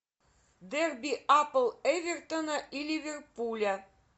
дерби апл эвертона и ливерпуля